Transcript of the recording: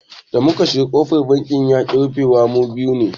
Da muka shiga kofar banki yaƙi rufuwa saboda mu biyu ne.